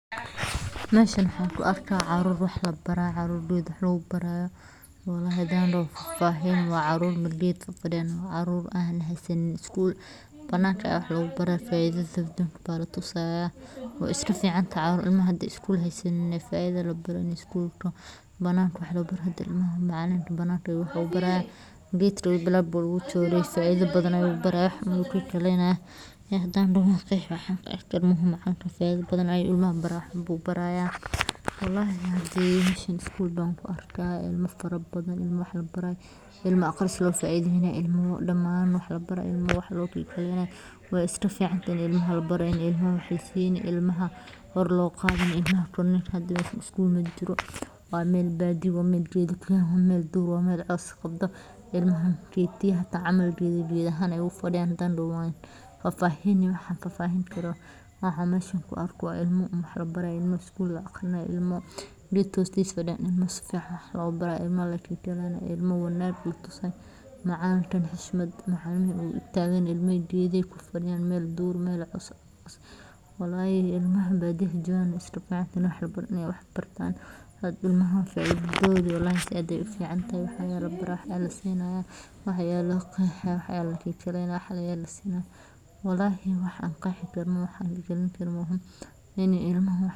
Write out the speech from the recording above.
Geed weyn oo cagaaran, oo hadhkiisu si deeqsinimo leh ugu fidiyey dhulka qoyan ee barxadda dugsiga hoose ee ku yaalla tuulo yar oo ku taalla gobolka, ayaa noqday xarunta waxbarasho ee ku meelgaarka ah ee arday badan oo yaryar oo leh hammuun aqooneed, kuwaas oo ay indhahooda ka muuqato rajo, dadaal, iyo niyadsami, iyaga oo fadhiya dusha roogag duugoobay, qalimmo iyo buugaag ay gacan ku hayaan, mid kastana ku dadaalaya inuu fahmo casharrada ay macallin kalgacayl leh ugu akhrinayo cod deggan, isagoo isticmaalaya sabar iyo dulqaad si uu ugu dhiirrigeliyo in ay bartaan akhriska.